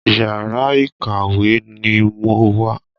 Yàrá ìkàwé ni mo wà.